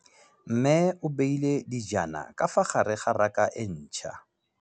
Mmê o beile dijana ka fa gare ga raka e ntšha.